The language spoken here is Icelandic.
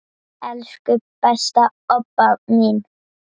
Elsku besta Obba mín.